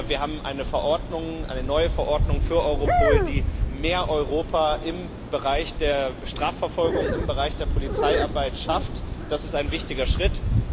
Wir haben eine neue Verordnung für Europol, die mehr Europa im Bereich der Strafverfolgung, im Bereich der Polizeiarbeit schafft das ist ein wichtiger Schritt.